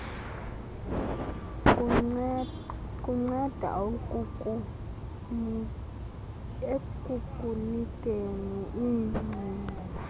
kunceda ekukunikeni iingcinga